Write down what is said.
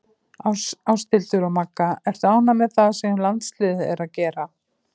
Ásthildur og Magga Ertu ánægð með það sem landsliðið er að gera?